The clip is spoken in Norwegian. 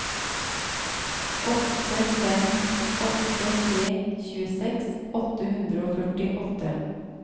åtte fem åtte tre tjueseks åtte hundre og førtiåtte